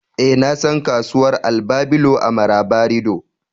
eh, na san kasuwar albabelo a marabarido